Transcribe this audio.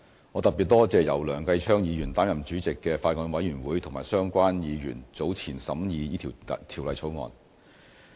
我特別多謝由梁繼昌議員擔任主席的法案委員會和相關議員早前審議這項《條例草案》。